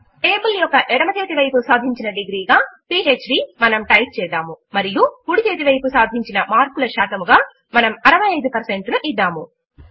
table యొక్క ఎడమ చేతి వైపు సాధించిన డిగ్రీ గా పీహ్డ్ మనము టైప్ చేద్దాము మరియు కుడి చేతి వైపు సాధించిన మార్కుల శాతముగా మనము 65 ను ఇద్దాము